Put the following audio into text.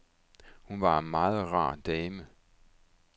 Hun var en meget rar dame.